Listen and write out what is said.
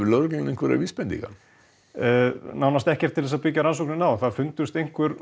lögregla með einhverjar vísbendingar nei nánast ekkert til þess að byggja rannsóknina á það fundust einhver